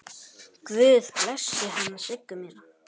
Guð blessi hana Siggu mína.